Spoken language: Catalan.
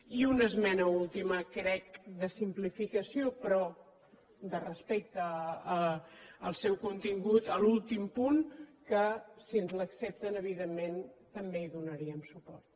i una esmena última crec de simplificació però de respecte al seu contingut a l’últim punt que si ens l’accepten evidentment també hi donaríem suport